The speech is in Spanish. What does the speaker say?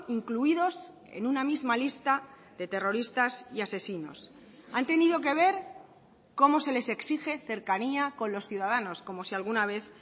incluidos en una misma lista de terroristas y asesinos han tenido que ver cómo se les exige cercanía con los ciudadanos como si alguna vez